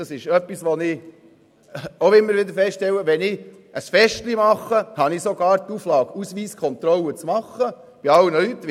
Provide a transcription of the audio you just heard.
Ich stelle auch immer wieder fest, dass ich als Festwirt sogar die Auflage habe, Ausweiskontrollen durchzuführen, wenn ich ein Festlein veranstalte.